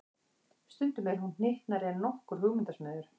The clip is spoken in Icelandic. Stundum er hún hnyttnari en nokkur hugmyndasmiður.